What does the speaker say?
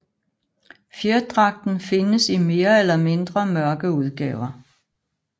Fjerdragten findes i mere eller mindre mørke udgaver